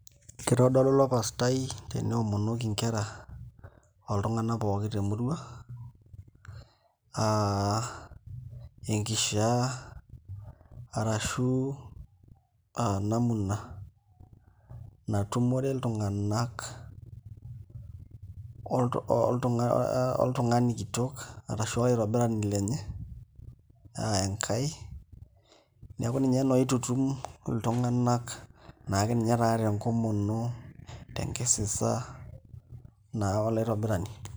Kitodolu ilo paastai teneomonoki nkera oltung'anak pookin temurua aa enkishiaa arashu namna natumore iltung'anak oltung'ani kitok ashu olaitobirani lenye aa Enkai neeku ninye naa oitutum iltung'anak naake ninye taa tenkomono tenkisisa naa olaitobirani.